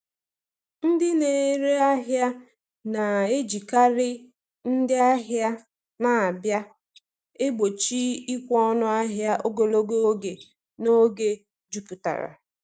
Ndị na-ere ahịa na-ejikarị “ndị ahịa na-abịa” egbochi ịkwụ ọnụ ahịa ogologo oge n’oge jupụtara.